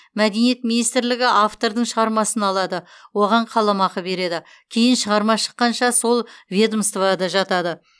мәдениет министрлігі автордың шығармасын алады оған қаламақы береді кейін шығарма шыққанша сол ведомствода жатады